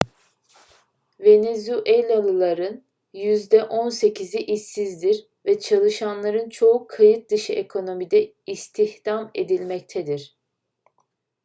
venezuelalıların yüzde on sekizi işsizdir ve çalışanların çoğu kayıt dışı ekonomide istihdam edilmektedir